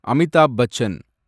Amitabh Bachchan